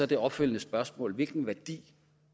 det opfølgende spørgsmål så hvilken værdi